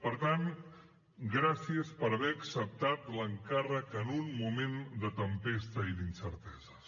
per tant gràcies per haver acceptat l’encàrrec en un moment de tempesta i d’incerteses